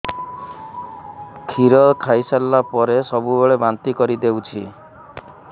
କ୍ଷୀର ଖାଇସାରିଲା ପରେ ସବୁବେଳେ ବାନ୍ତି କରିଦେଉଛି